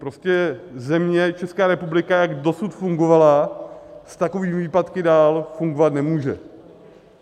Prostě země, Česká republika, jak dosud fungovala, s takovými výpadky dál fungovat nemůže.